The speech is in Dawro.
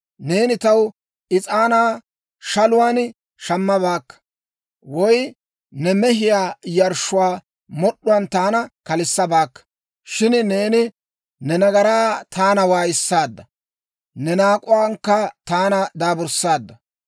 Neeni taw is'aanaa shaluwaan shammabaakka; woy ne mehiyaa yarshshuwaa mod'd'uwaan taana kalissabaakka. Shin neeni ne nagaran taana waayissaadda; ne naak'uwaankka taana daaburssaadda.